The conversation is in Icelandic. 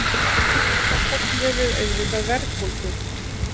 Það köllum við auðvitað verðbólgu.